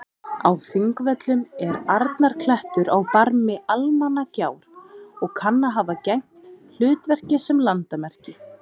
Á Þingvöllum er Arnarklettur á barmi Almannagjár og kann að hafa gegnt hlutverki sem landamerki.